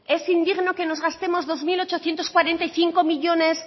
es indigno que nos gastemos dos mil ochocientos cuarenta y cinco millónes